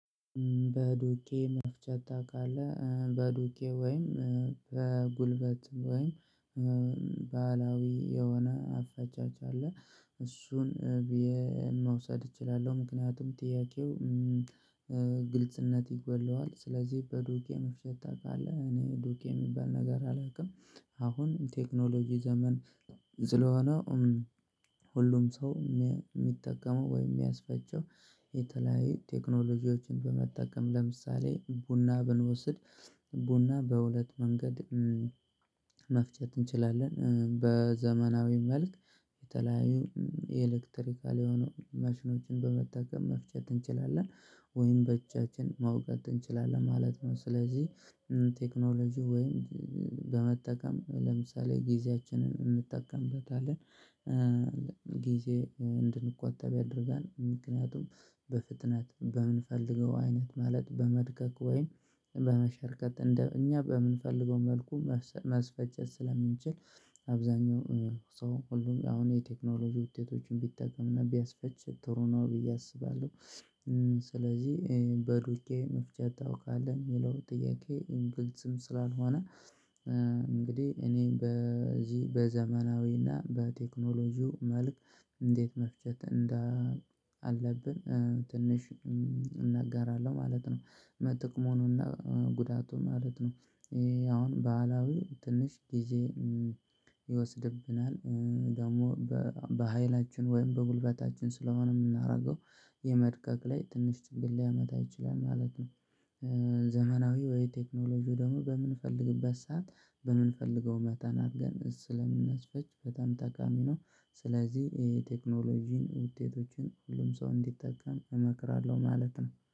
በዱቄ መፍቻ ታውቃለህ? በዱቄ ወይም በጉልበት ወይም ባህላዊ የሆነ አፈጫጭ አለ። እሱን መውሰድ እችላለሁ። ምክንያቱም ጥያቄው ግልጽነት ይጎድለዋል። ስለዚህ በዱቄ መፍጨት ታውቃለህ? እኔ ዱቄ የሚባል ነገር አላውቅም። አሁን ቴክኖሎጂ ዘመን ስለሆነ ሁሉም ሰው የሚጠቀመው ወይም የሚያስፈጨው የተለያየ ቴክኖሎጂዎችን በመጠቀም ለምሳሌ ቡና ብንወስድ ቡና በሁለት መንገድ መፍጨት እንችላለን። በዘመናዊ መልክ የተለያዩ የኤሌክትሪካል የሆኑ መሽኖችን በመጠቀም መፍጨት እንችላለን ወይም በጃችን መውገጥ እንችላለን ማለት ነው። ስለዚህ ቴክኖሎጂ ወይም በመጠቀም ለምሳሌ ጊዜያችንን እንጠቀምበታለን። ጊዜ እንድንቆጠብ ያደርጋል። ምክንያቱም በፍጥነት በምንፈልገው አይነት ማለት በመድከክ ወይም በመሸርከት እኛ በምንፈልገው መልኩ ማስፈጨት ስለምንችል አብዛኛው ሰው ሁሉም አሁን የቴክኖሎጂ ውጤቶችን ቢጠቀምና ቢያስፈጭ ጥሩ ነው ብዬ አስባለሁ። ስለዚህ በዱቄ መፍጨት ታውቃለህ? የሚለው ጥያቄ ግልጽም ስላልሆነ እንግዲህ እኔ በዚህ በዘመናዊና በቴክኖሎጂው መልክ እንዴት መፍጨት እንዳለብን ትንሽ እናገራለሁ ማለት ነው። ጥቅሙንና ጉዳቱን ማለት ነው። አሁን ባህላዊ ትንሽ ጊዜ ይወስድብናል ደግሞ በሃይላችን ወይም በጉልበታችን ስለሆነ የምናደርገው የመድቀቅ ላይ ትንሽ ችግር ሊያመጣ ይችላል ማለት ነው። ዘመናዊ ወይ ቴክኖሎጂው ደግሞ በምንፈልግበት ሰዓት በምንፈልገው መጠን አድርገን ስለምናስፈጭ በጣም ጠቃሚ ነው። ስለዚህ ይሄ የቴክኖሎጂን ውጤቶችን ሁሉም ሰው እንዲጠቀም እመክራለሁ ማለት ነው።